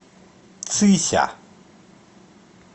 цися